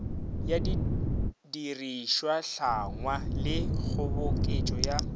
ya didirišwahlangwa le kgoboketšo ya